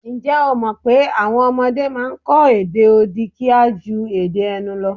Ǹjẹ́ o mọ̀̀ pé àwọn ọmọdé a máa kọ èdè odi kíá ju èdè ẹnu lọ?